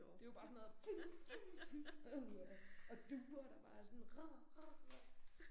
Det jo bare sådan noget uha og duer der bare er sådan